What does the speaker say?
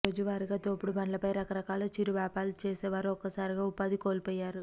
రోజువారీగా తోపుడు బండ్లపై రకరకాల చిరువ్యాపారాలు చేసే వారు ఒక్కసారిగా ఉపాధి కోల్పోయారు